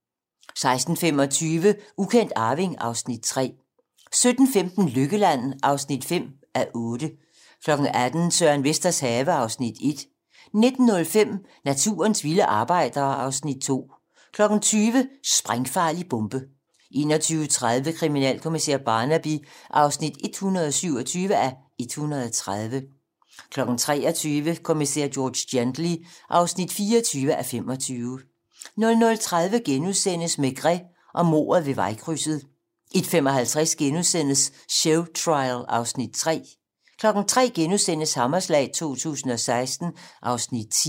16:25: Ukendt arving (Afs. 3) 17:15: Lykkeland (5:8) 18:00: Søren Vesters have (Afs. 1) 19:05: Naturens vilde arbejdere (Afs. 2) 20:00: Sprængfarlig bombe 21:30: Kriminalkommissær Barnaby (127:130) 23:00: Kommissær George Gently (24:25) 00:30: Maigret og mordet ved vejkrydset * 01:55: Showtrial (Afs. 3)* 03:00: Hammerslag 2016 (Afs. 10)*